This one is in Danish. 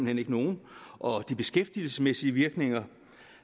hen ikke nogen og de beskæftigelsesmæssige virkninger